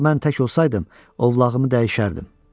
Əgər mən tək olsaydım, ovlağımı dəyişərdim.